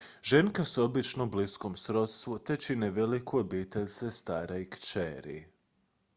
ženke su obično u bliskom srodstvu te čine veliku obitelj sestara i kćeri